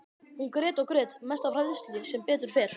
Hún grét og grét, mest af hræðslu, sem betur fer.